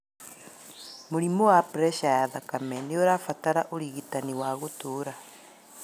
Mũrimũ wa preca ya thakame nĩũrabatara ũrigitani wa gũtũra